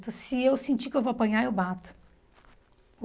Então, se eu sentir que eu vou apanhar, eu bato.